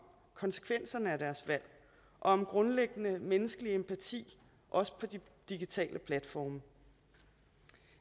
konsekvenserne af deres valg og om grundlæggende menneskelig empati også på de digitale platforme